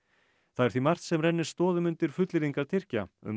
það er því margt sem rennir stoðum undir fullyrðingar Tyrkja um